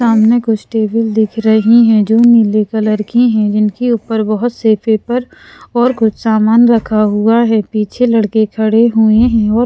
सामने कुछ टेबल दिख रही हैं जो नीले कलर की हैं जिनके ऊपर बहुत से पेपर और कुछ सामान रखा हुआ है पीछे लड़के खड़े हुए है और--